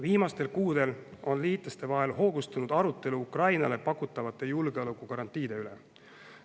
Viimastel kuudel on liitlaste vahel hoogustunud arutelu Ukrainale pakutavate julgeolekugarantiide üle.